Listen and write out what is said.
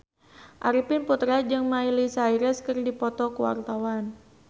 Arifin Putra jeung Miley Cyrus keur dipoto ku wartawan